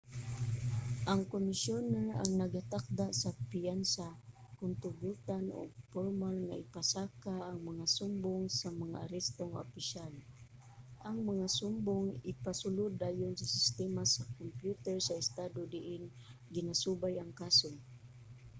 ang komisyoner ang nagatakda sa piyansa kon tugutan ug pormal nga ipasaka ang mga sumbong sa mag-aresto nga opisyal. ang mga sumbong ipasulod dayon sa sistema sa kompyuter sa estado diin ginasubay ang kaso